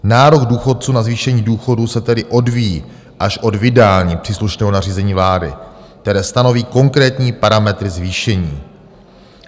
Nárok důchodců na zvýšení důchodů se tedy odvíjí až od vydání příslušného nařízení vlády, které stanoví konkrétní parametry zvýšení.